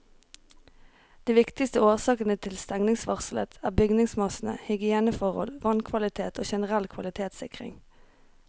De viktigste årsakene til stengningsvarselet er bygningsmasse, hygieneforhold, vannkvalitet og generell kvalitetssikring.